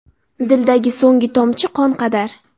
Dildagi so‘ngi Tomchi qon qadar.